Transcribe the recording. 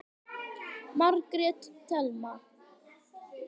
Margrét Thelma.